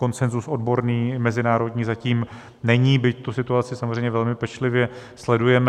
Konsenzus odborný mezinárodní zatím není, byť tu situaci samozřejmě velmi pečlivě sledujeme.